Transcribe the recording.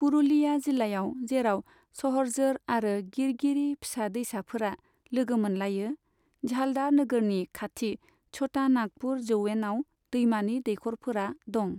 पुरुलिया जिल्लायाव जेराव सहरजोर आरो गिरगिरि फिसा दैसाफोरा लोगो मोनलायो, झालदा नोगोरनि खाथि छोटा नागपुर जौयेनाव दैमानि दैखर'फोरा दं।